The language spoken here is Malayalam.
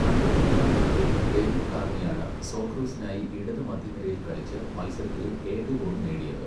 അമ്പത്തിരണ്ടാം മിനിറ്റിൽ ഡേവിഡ് കാർണിയാണ് സോക്കറൂസിനായി ഇടത് മധ്യനിരയിൽ കളിച്ച് മത്സരത്തിലെ ഏക ഗോൾ നേടിയത്.